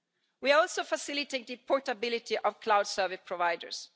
We have also facilitated portability of cloud service providers.